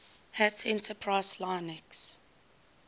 hat enterprise linux